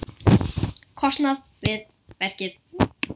kostnað við verkið.